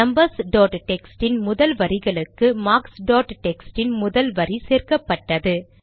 numbers dot text இன் முதல் வரிகளுக்கு மார்க்ஸ் டாட் டெக்ஸ்ட் இன் முதல் வரி சேர்க்கப்பட்டது